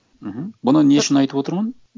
мхм бұны не үшін айтып отырмын